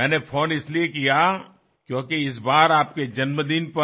मैंने फ़ोन इसलिए किया क्योंकि इस बार आपके जन्मदिन पर